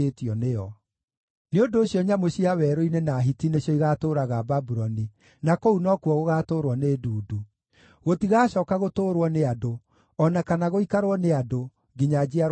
“Nĩ ũndũ ũcio nyamũ cia werũ-inĩ na hiti nĩcio igaatũũraga Babuloni, na kũu no kuo gũgaatũũrwo nĩ ndundu. Gũtigacooka gũtũũrwo nĩ andũ o na kana gũikarwo nĩ andũ, nginya njiarwa na njiarwa.